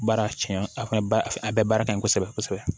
Baara tiɲɛ a ka a bɛɛ baara ka ɲi kosɛbɛ kosɛbɛ